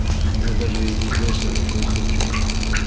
он даже и не знает что такое супчик